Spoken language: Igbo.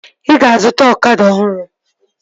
Ị ga-azụta ọkada ọhụrụ?